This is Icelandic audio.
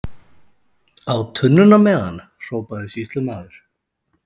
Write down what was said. Á tunnuna með hann, hrópaði sýslumaður.